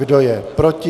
Kdo je proti?